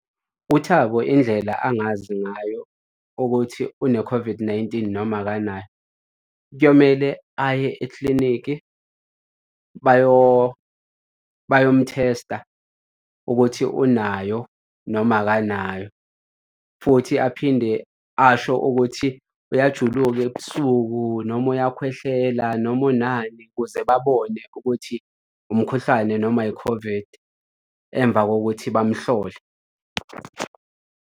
UThabo indlela angazi ngayo ukuthi une-COVID-19, noma akanayo, kuyomele aye eklinikhi bayomthesta ukuthi unayo noma akanayo futhi aphinde asho ukuthi uyajuluka ebusuku noma uyakhwehlela noma unani ukuze babone ukuthi umkhuhlane noma i-COVID emva kokuthi bamhlole.